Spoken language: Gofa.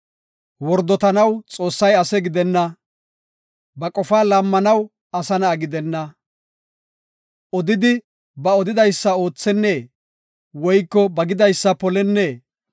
Wordotanaw Xoossay ase gidenna; ba qofaa laammanaw asa na7a gidenna. Odidi, ba odidaysa oothennee? Woyko ba gidaysa polennee?